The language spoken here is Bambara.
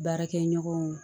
Baarakɛ ɲɔgɔnw